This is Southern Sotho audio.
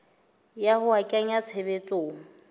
ya ho a kenya tshebetsong